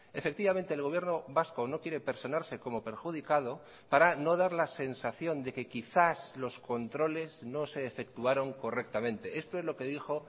efectivamente el gobierno vasco no quiere personarse como perjudicado para no dar la sensación de que quizás los controles no se efectuaron correctamente esto es lo que dijo